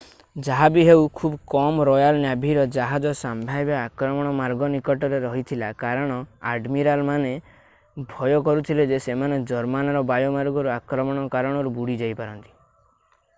ଯାହାବି ହେଉ ଖୁବ୍ କମ୍ ରୟାଲ୍ ନ୍ୟାଭିର ଜାହାଜ ସମ୍ଭାବ୍ୟ ଆକ୍ରମଣ ମାର୍ଗ ନିକଟରେ ରହିଥିଲା କାରଣ ଆଡମିରାଲମାନେ ଭୟ କରୁଥିଲେ ଯେ ସେମାନେ ଜର୍ମାନର ବାୟୁମାର୍ଗରୁ ଆକ୍ରମଣ କାରଣରୁ ବୁଡ଼ିଯାଇପାରନ୍ତି।